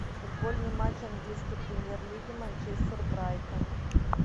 футбольный матч английской премьер лиги манчестер брайтон